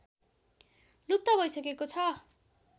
लुप्त भइसकेको छ